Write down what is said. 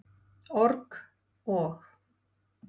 org- og.